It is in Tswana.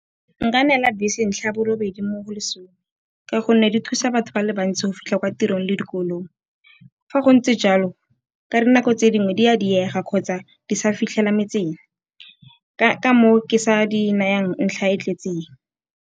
Nka neela bese ntlha borobedi mo go lesome ka gonne di thusa batho ba le bantsi go fitlha kwa tirong le dikolong. Fa go ntse jalo ka dinako tse dingwe di a diega kgotsa di sa fitlhela metseng, ka moo ke sa di nayang ntlha e tletseng.